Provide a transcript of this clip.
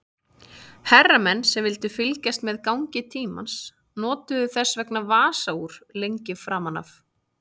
Herramenn sem vildu fylgjast með gangi tímans notuðu þess vegna vasaúr lengi framan af.